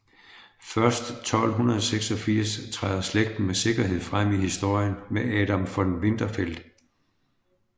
Først 1286 træder slægten med sikkerhed frem i historien med Adam von Winterfeld